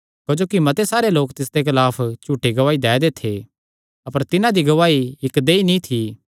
क्जोकि मते सारे लोक तिसदे खलाफ झूठी गवाही दै दे थे अपर तिन्हां दी गवाही इक्क देहई नीं थी